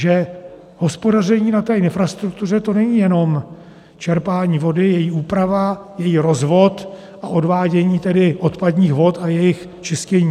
Že hospodaření na té infrastruktuře, to není jenom čerpání vody, její úprava, její rozvod a odvádění tedy odpadních vod a jejich čištění.